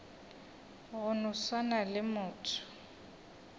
go no swana le motho